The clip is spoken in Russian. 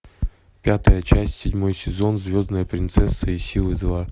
пятая часть седьмой сезон звездная принцесса и силы зла